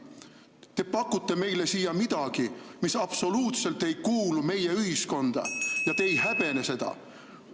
Te pakute meile midagi, mis absoluutselt ei kuulu meie ühiskonda ja te ei häbene seda.